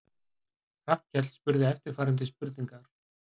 Hrafnkell spurði eftirfarandi spurningar: